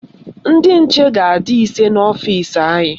Ndị nche ga-adị ise n'ọfisi anyị